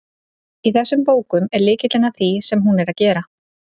Í þessum bókum er lykillinn að því sem hún er að gera.